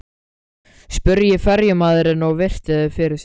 spurði ferjumaðurinn og virti þau fyrir sér.